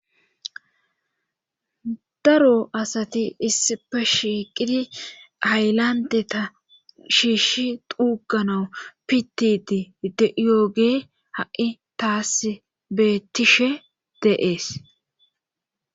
daro asati issipe shiqidi aylante ta shiishi duuganau pitidi de7ioge ha7i taasbettishe deees